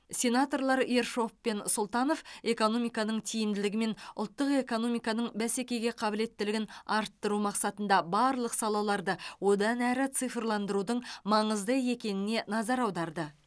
сенаторлар ершов пен сұлтанов экономиканың тиімділігі мен ұлттық экономиканың бәсекеге қабілеттілігін арттыру мақсатында барлық салаларды одан әрі цифрландырудың маңызды екеніне назар аударды